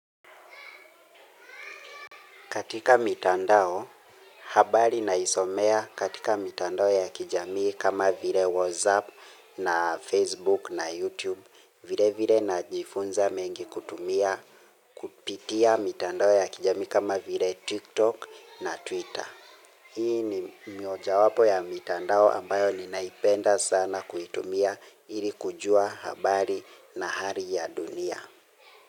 Katika mitandao, habari naisomea katika mitandao ya kijamii kama vile Whatsapp na Facebook na Youtube. Vile vile najifunza mengi kutumia kupitia mitandao ya kijamii kama vile Tiktok na Twitter. Hii ni mioja wapo ya mitandao ambayo ni naipenda sana kuitumia ili kujua habari na hari ya dunia.